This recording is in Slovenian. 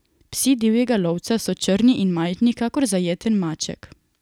Psi divjega lovca so črni in majhni, kakor zajeten maček.